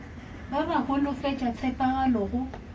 ba ba holofetša tshepagalo go